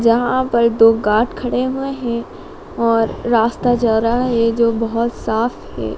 जहां पर दो गार्ड खड़े हुए हैं और रास्ता जा रहा है जो बहोत साफ है।